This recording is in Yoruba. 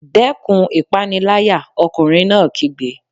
Dẹ́kun ìpániláyà! Ọkùnrin náà kígbe.